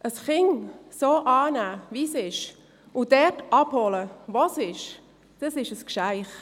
Ein Kind so anzunehmen, wie es ist, und es dort abzuholen, wo es ist, ist ein Geschenk.